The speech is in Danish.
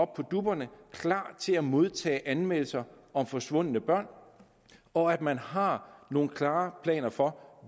på dupperne og klar til at modtage anmeldelser om forsvundne børn og at man har nogle klare planer for